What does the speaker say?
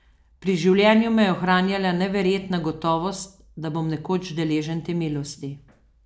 Pri življenju me je ohranjala neverjetna gotovost, da bom nekoč deležen te milosti.